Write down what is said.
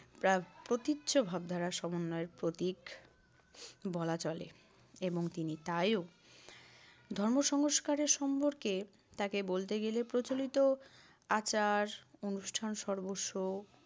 প্রা~ প্রতীচ্য ভাবধারার সমন্বয়ের প্রতীক বলা চলে এবং তিনি তাইও। ধর্ম সংস্কারের সম্পর্কে তাকে বলতে গেলে প্রচলিত আচার-অনুষ্ঠান সর্বস্ব